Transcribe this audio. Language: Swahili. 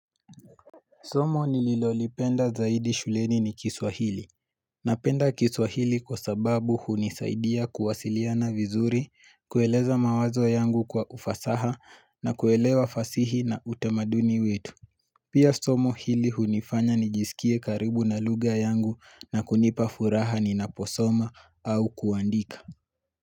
Somo nililolipenda zaidi shuleni ni kiswahili. Napenda kiswahili kwa sababu hunisaidia kuwasiliana vizuri, kueleza mawazo yangu kwa ufasaha na kuelewa fasihi na utemaduni wetu. Pia somo hili hunifanya nijisikie karibu na lugha yangu na kunipa furaha ni naposoma au kuandika.